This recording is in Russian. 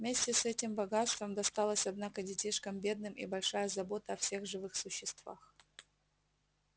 вместе с этим богатством досталось однако детишкам бедным и большая забота о всех живых существах